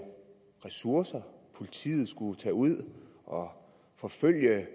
ressourcer at politiet skulle tage ud og forfølge